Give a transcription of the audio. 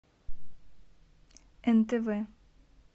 нтв